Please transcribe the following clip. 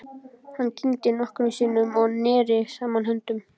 Hann kyngdi nokkrum sinnum og neri saman höndunum.